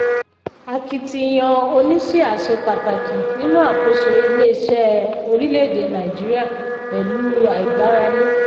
akitiyan oníṣíà ṣe pàtàkì nínú àkóso ilé-iṣẹ́ orílẹ̀-èdè nàìjíríà pẹ̀lú àìgbáralé.